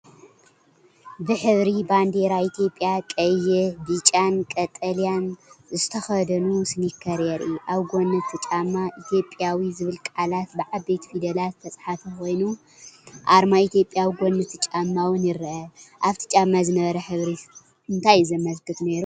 ብሕብሪ ባንዴራ ኢትዮጵያ ቀይሕ፣ ብጫን ቀጠልያን ዝተኸድኑ ስኒከር የርኢ። ኣብ ጎኒ እቲ ጫማ “ኢትዮጵያዊ” ዝብል ቃላት ብዓበይቲ ፊደላት ዝተጻሕፈ ኮይኑ፡ ኣርማ ኢትዮጵያ ኣብ ጎኒ እቲ ጫማ’ውን ይርአ። ኣብቲ ጫማ ዝነበረ ሕብሪ እንታይ እዩ ዘመልክት ነይሩ?